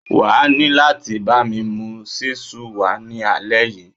Wà á ní láti bámi mú ṣísù wá ní alẹ́ yìí.